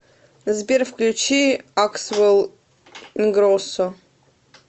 сбер включи аксвэл ингроссо